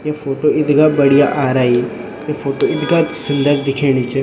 ये फोटो इथगा बढ़िया आरई य फोटो इथगा सुन्दर दिखेनी च।